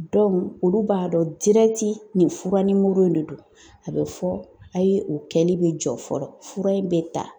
olu b'a dɔ dirɛti nin fura nimoro in de don. A bɛ fɔ a' ye o kɛli be jɔ fɔlɔ, fura in bɛ ta.